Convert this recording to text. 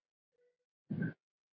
Kemurðu enn með þetta rugl!